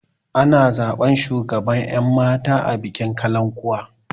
Ana zaɓan shugaban ƴan mata a bikin kalankuwa